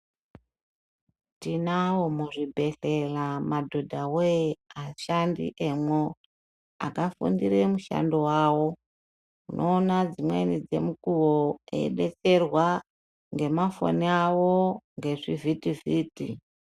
Tinawo muzvibhedhlera madhodhawe ashandi emwo akafundire mushando wawo unoona dzimweni dzemukuwo eibetserwa ngemafoni awo ngezvivhiti vhiti.